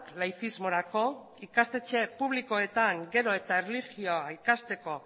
laizismorako ikastetxe publikoetan gero eta erlijioa ikasteko